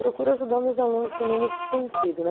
Procuro ajudar meus alunos também nesse sentido, né?